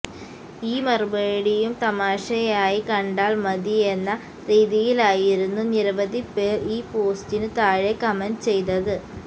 ഈ മറുപടിയും തമാശയായി കണ്ടാൽ മതി എന്ന രീതിയിലായിരുന്നു നിരവധി പേർ ഈ പോസ്റ്റിനു താഴെ കമന്റ് ചെയ്തത്